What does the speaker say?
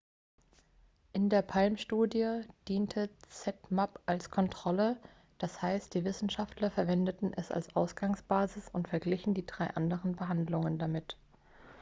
in der palm-studie diente zmapp als kontrolle d.h. die wissenschaftler verwendeten es als ausgangsbasis und verglichen die drei anderen behandlungen damit